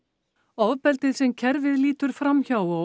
ofbeldi sem kerfið lítur fram hjá og